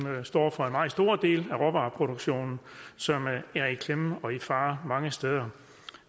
der står for en meget stor del af råvareproduktionen som er i klemme og i fare mange steder